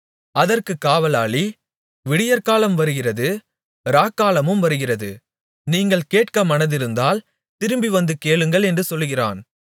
அதற்கு காவலாளி விடியற்காலம் வருகிறது இராக்காலமும் வருகிறது நீங்கள் கேட்க மனதிருந்தால் திரும்பிவந்து கேளுங்கள் என்று சொல்கிறான்